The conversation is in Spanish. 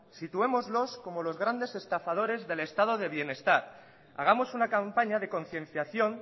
situémoslos como los grandes estafadores del estado de bienestar hagamos una campaña de concienciación